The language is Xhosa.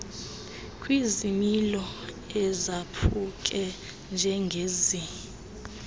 kwizimilo ezaphuke njengezi